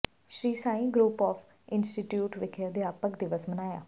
Sri Sai group of institute ਵਿਖੇ ਅਧਿਆਪਕ ਦਿਵਸ ਮਨਾਇਆ